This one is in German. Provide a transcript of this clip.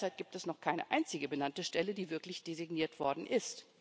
Derzeit gibt es noch keine einzige benannte Stelle, die wirklich designiert worden ist.